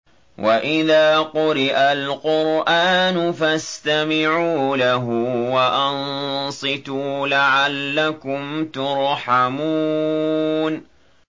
وَإِذَا قُرِئَ الْقُرْآنُ فَاسْتَمِعُوا لَهُ وَأَنصِتُوا لَعَلَّكُمْ تُرْحَمُونَ